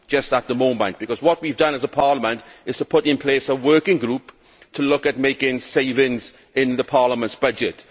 I say for the moment' because what we have done as a Parliament is to put in place a working group to look at making savings in Parliament's budget.